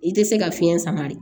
I tɛ se ka fiɲɛ sama de